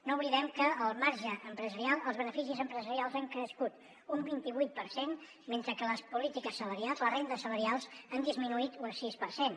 no oblidem que el marge empresarial els beneficis empresarials ha crescut un vint i vuit per cent mentre que les polítiques salarials les rendes salarials han disminuït un sis per cent